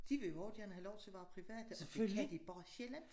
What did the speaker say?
De vil jo også gerne have lov til a være private og det kan de bare slet ikke